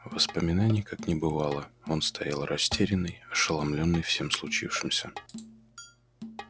воспоминаний как не бывало он стоял растерянный ошеломлённый всем случившимся